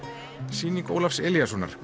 sýning Ólafs Elíassonar